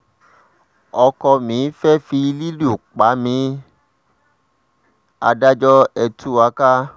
ọkọ mi ti fẹ́ẹ́ fi lílù pa mí adájọ́ ẹ̀ tú wa ká